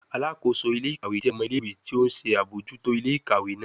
Alakoso ile-ikawe jẹ ọmọ ile-iwe ti o nṣe abojuto ile-ikawe naa